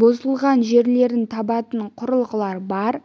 бұзылған жерлерін табатын құрылғылар бар